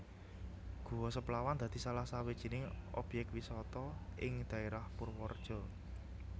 Guwa Seplawan dadi salah sawijining objèk wisata ing daèrah Purwareja